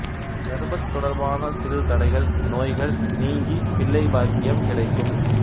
கர்ப்பத் தொடர்பான சிறுதடைகள் நோய்கள் நீங்கி பிள்ளை பாக்கியம் கிடைக்கும்